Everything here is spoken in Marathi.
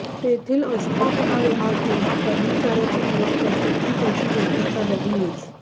तेथील अस्थापना विभाग जेव्हा कर्मचार्याची निवड करते ती त्याची योग्यता बघूनच